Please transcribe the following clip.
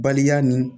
Baliya nin